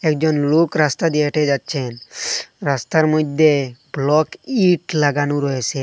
একজন লোক রাস্তা দিয়ে হেঁটে যাচ্ছেন রাস্তার মইধ্যে ব্লক ইঁট লাগানো রয়েসে।